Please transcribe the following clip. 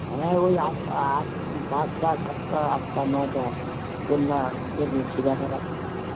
হ্যাঁ ওই আস পাঁচটা সাতটা আঠটা নটা কোন মা সেবা করার